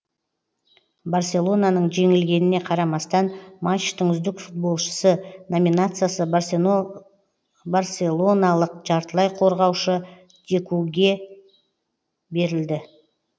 барселонаның жеңілгеніне қарамастан матчтың үздік футболшысы